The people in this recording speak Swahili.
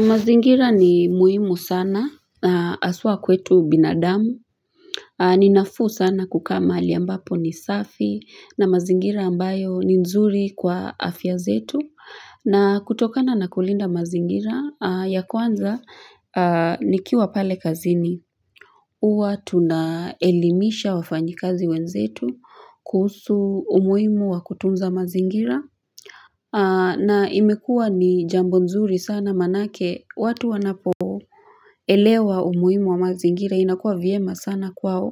Mazingira ni muhimu sana aswa kwetu binadamu Ninafuu sana kukaa maali ambapo ni safi na mazingira ambayo ni nzuri kwa afya zetu na kutokana na kulinda mazingira ya kwanza nikiwa pale kazini Uwa tunaelimisha wafanyi kazi wenzetu kuhusu umuhimu wa kutunza mazingira na imekua ni jambo nzuri sana manake watu wanapo elewa umuhimu wa mazingira inakua viema sana kwao